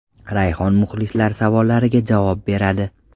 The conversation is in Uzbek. Rayhon muxlislar savollariga javob beradi.